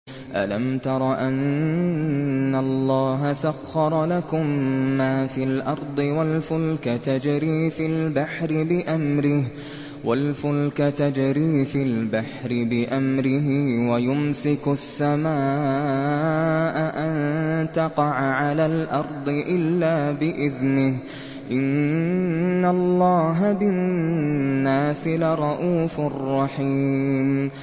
أَلَمْ تَرَ أَنَّ اللَّهَ سَخَّرَ لَكُم مَّا فِي الْأَرْضِ وَالْفُلْكَ تَجْرِي فِي الْبَحْرِ بِأَمْرِهِ وَيُمْسِكُ السَّمَاءَ أَن تَقَعَ عَلَى الْأَرْضِ إِلَّا بِإِذْنِهِ ۗ إِنَّ اللَّهَ بِالنَّاسِ لَرَءُوفٌ رَّحِيمٌ